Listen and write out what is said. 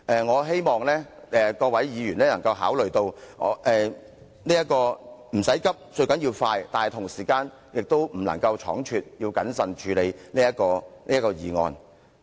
我希望各位議員能考慮到"唔使急，最緊要快"，但同時間也不能倉促，要謹慎處理這項議案。